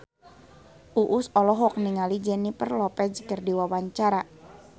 Uus olohok ningali Jennifer Lopez keur diwawancara